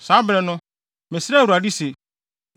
Saa bere no, mesrɛɛ Awurade se,